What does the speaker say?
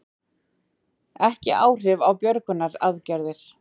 Ekki áhrif á björgunaraðgerðir